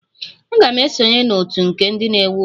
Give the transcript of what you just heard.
Aga m esonye na otu nke ndị na-ewu ụlọ.